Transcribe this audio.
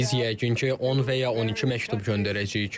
Biz yəqin ki, 10 və ya 12 məktub göndərəcəyik.